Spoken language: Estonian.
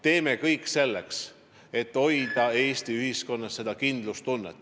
Teeme kõik selleks, et hoida Eesti ühiskonnas kindlustunnet!